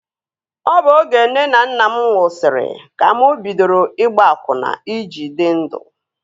Ọ bụ oge nne na nna mụ nwụsịrị ka mụ bidoro ịgba akwụna I ji dị ndụ